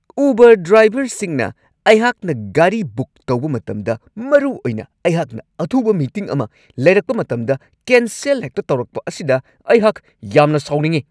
Uber ꯗ꯭ꯔꯥꯏꯕꯔꯁꯤꯡꯅ ꯑꯩꯍꯥꯛꯅ ꯒꯥꯔꯤ ꯕꯨꯛ ꯇꯧꯕ ꯃꯇꯝꯗ ꯃꯔꯨꯑꯣꯏꯅ ꯑꯩꯍꯥꯛꯅ ꯑꯊꯨꯕ ꯃꯤꯇꯤꯡ ꯑꯃ ꯂꯩꯔꯛꯄ ꯃꯇꯝꯗ ꯀꯦꯟꯁꯦꯜ ꯍꯦꯛꯇ ꯇꯧꯔꯛꯄ ꯑꯁꯤꯗ ꯑꯩꯍꯥꯛ ꯌꯥꯝꯅ ꯁꯥꯎꯅꯤꯡꯉꯤ ꯫